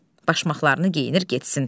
Başmaqlarını geyinir getsin.